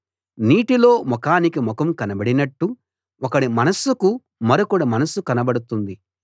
నీటిలో ముఖానికి ముఖం కనబడినట్టు ఒకడి మనస్సుకు మరొకడి మనస్సు కనబడుతుంది